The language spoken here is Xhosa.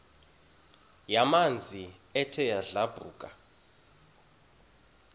yamanzi ethe yadlabhuka